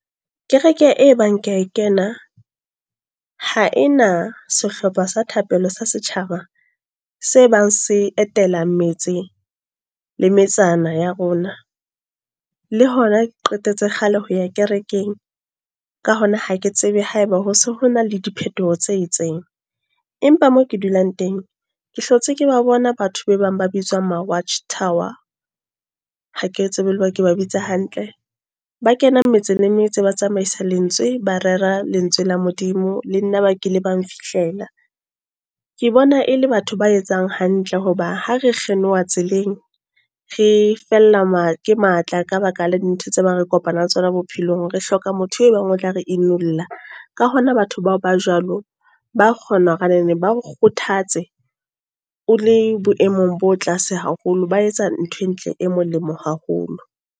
Kereke e bang ke a e kena. Ha ena sehlopha sa thapelo sa setjhaba, se bang se etela metse le metsana ya rona. Le hona ke qetetse kgale ho ya kerekeng. Ka hona ha ke tsebe haeba ho se ho na le diphetoho tse itseng. Empa mo ke dulang teng, ke hlotse ke ba bona batho be bang ba bitswang Ma-Watch Tower. Ha ke tsebe haeba ke bitsa hantle. Ba kena metse le metse, ba tsamaisa lentswe. Ba rera lentswe la Modimo. Le nna ba kile bang fihlela. Ke bona e le batho ba etsang hantle. Hoba ha re kgeloha tseleng, re fella ke matla ka baka la dintho tse ba re kopana le tsona bophelong. Re hloka motho e bang o tla re imulla. Ka hona batho bao ba jwalo, ba kgona hore a neneng ba re kgothatse. O le boemong bo tlase haholo, ba etsa ntho e ntle e molemo haholo.